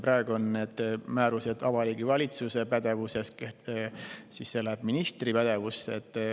Praegu on need määrused Vabariigi Valitsuse pädevuses, aga edaspidi lähevad need ministri pädevusse.